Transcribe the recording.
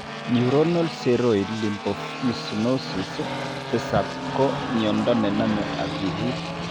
Neuronal ceroid lipofuscinosis 7 ko miando ne name akilit.